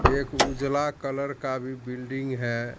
एक उजला कलर का भी बिल्डिंग है।